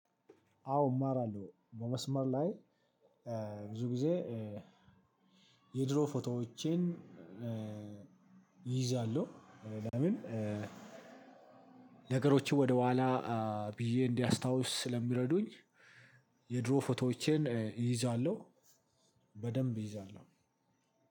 አዎ እማራለሁ። በመስመር ላይ ብዙ ጊዜ የድሮ ፎቶዎቼን እይዛለሁ። ለምን? ነገሮችን ወደኋላ ብዬ እንዳስታውስ ስለሚረዱኝ የድሮ ፎቶዎቼን እይዛለሁ። በደንብ እይዛለሁ።